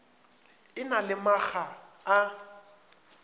e na le makga a